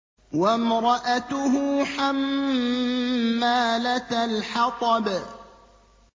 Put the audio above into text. وَامْرَأَتُهُ حَمَّالَةَ الْحَطَبِ